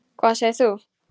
Hvað segir þú?